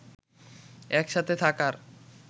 এক সাথে থাকার